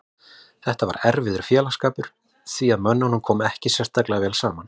Þetta var erfiður félagsskapur því að mönnum kom ekki sérstaklega vel saman.